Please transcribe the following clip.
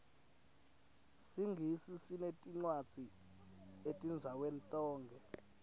singisi sineticwadzi etindzaweni tonkhe